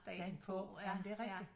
Dagen på ja men det er rigtigt